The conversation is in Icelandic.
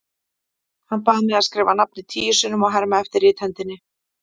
Hann bað mig að skrifa nafnið tíu sinnum og herma eftir rithendinni.